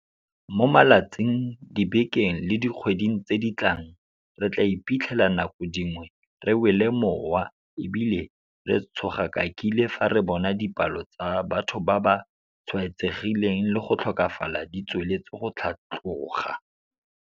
Mo malatsing, dibekeng le dikgweding tse di tlang, re tla iphitlhela nako dingwe re wele mowa e bile re tshogakakile fa re bona dipalo tsa batho ba ba tshwaetsegileng le go tlhokafala di tsweletse go tlhatloga.